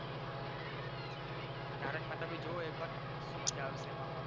તારક મહેતા ભી જોવો એક વાર તો મજા આવશે એમાં પણ